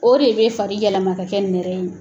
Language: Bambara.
O de bɛ fari yɛlɛma k'a kɛ nɛrɛ in ye